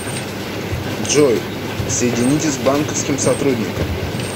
джой соедините с банковским сотрудником